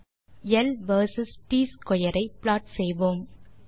முதலில் L versus T square ஐ plot செய்வோம்